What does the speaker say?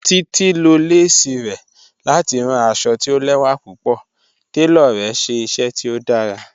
Títi ló lẹ̀sí rẹ̀ láti ránn àṣọ̀ tì ò lẹwa púpọ̀, tẹló rẹ̀ ṣẹ iṣẹ tó dàrá.